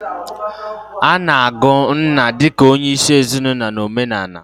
Ana-agụ nna di ka onyeisi ezinaulo na omenala.